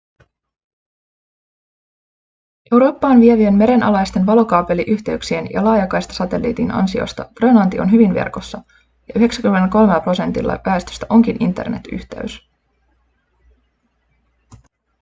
eurooppaan vievien merenalaisten valokaapeliyhteyksien ja laajakaistasatelliitin ansiosta grönlanti on hyvin verkossa ja 93 prosentilla väestöstä onkin internet-yhteys